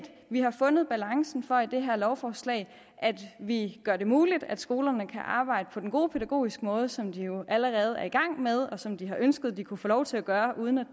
vi har fundet balancen for i det her lovforslag vi gør det muligt at skolerne kan arbejde på den gode pædagogiske måde som de jo allerede er i gang med og som de har ønsket at de kunne få lov til at gøre uden at